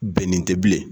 Bɛnnen tɛ bilen